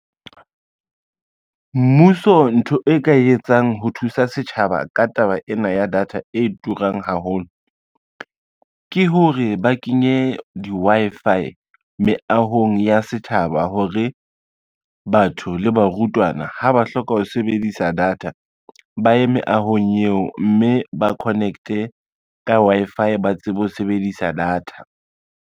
Mmuso ntho e ka etsang ho thusa setjhaba ka taba ena ya data e turang haholo, ke hore ba kenye di-Wi-Fi meahong ya setjhaba hore batho le barutwana ha ba hloka ho sebedisa data ba ye meahong eo, mme ba connect-e ka Wi-Fi ba tsebe ho sebedisa data.